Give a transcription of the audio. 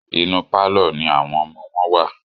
Inú pálọ̀ ní àwọn ọmọ wọn wà.